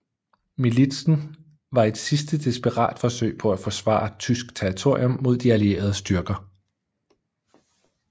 Militsen var et sidste desperat forsøg på at forsvare tysk territorium mod de allierede styrker